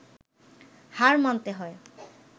হার মানতে হয়